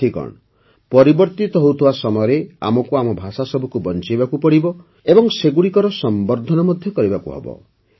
ସାଥିଗଣ ପରିବର୍ତ୍ତିତ ହେଉଥିବା ସମୟରେ ଆମକୁ ଆମ ଭାଷାସବୁକୁ ବଞ୍ଚାଇବାକୁ ପଡ଼ିବ ଏବଂ ସେଗୁଡ଼ିକ ସଂବର୍ଦ୍ଧନ ମଧ୍ୟ କରିବାକୁ ପଡ଼ିବ